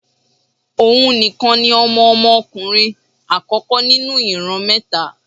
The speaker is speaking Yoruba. Ohùn nìkan ni Ọmọ Ọmọ ọkùnrin àkókó nínú ìran mẹ́ta